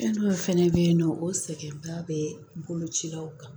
Fɛn dɔw fɛnɛ bɛ yen nɔ o sɛgɛnba bɛ bolo cilaw kan